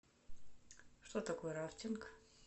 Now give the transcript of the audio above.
что такое рафтинг